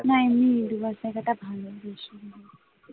না এমনিই দু লাখ টাকাটা